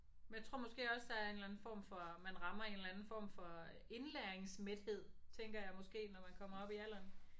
Men jeg tror måske også der er en eller anden form for man rammer en eller anden form for indlæringsmæthed tænker jeg måske når man kommer op i alderen